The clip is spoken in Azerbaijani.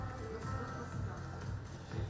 Yox, yox, yox, yox, yox.